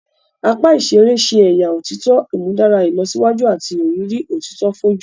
Apá iṣere ṣe ẹya òtítọ imudara ìlọsíwájú àti ìrírí òtítọ foju